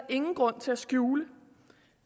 ingen grund til at skjule